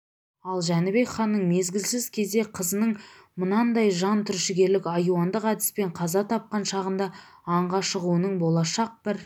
ал жәнібек ханның мезгілсіз кезде қызының мынандай жан түршігерлік айуандық әдіспен қаза тапқан шағында аңға шығуының болашақ бір